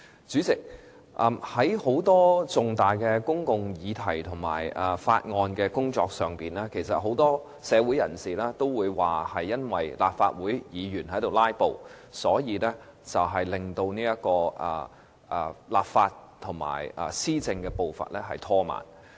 主席，在很多重大的公共議題和法案工作上，很多社會人士都認為由於立法會議員"拉布"，以致立法和施政步伐被拖慢。